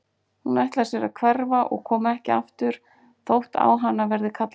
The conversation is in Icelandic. Hún ætlar sér að hverfa og koma ekki aftur þótt á hana verði kallað.